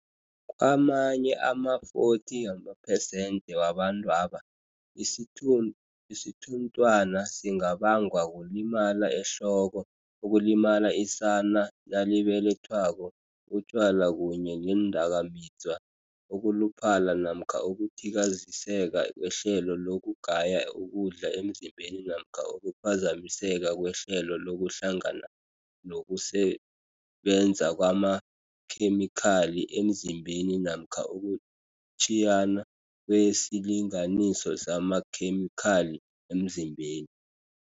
Kamanye ama-40 wamapersenthe wabantwaba, isithunthwana singabangwa kulimala ehloko, ukulimala isana nalibelethwako, utjwala kunye neendakamizwa, ukuluphala namkha ukuthikaziseka kwehlelo lokugaya ukudla emzimbeni namkha ukuphazamiseka kwehlelo lokuhlangana nokusebenza kwamakhemikhali emzimbeni namkha ukutjhiyana kwesilinganiso samakhemikhali emzimbeni.